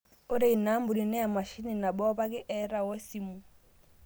Ore ina ampuni naa emashini nabo opake eeta woe simu